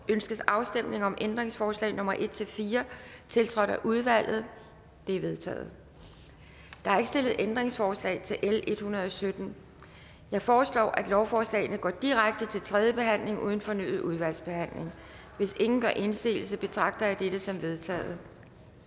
ønskes afstemning om ændringsforslag nummer en fire tiltrådt af udvalget de er vedtaget der er ikke stillet ændringsforslag til l en hundrede og sytten jeg foreslår at lovforslagene går direkte til tredje behandling uden fornyet udvalgsbehandling hvis ingen gør indsigelse betragter jeg dette som vedtaget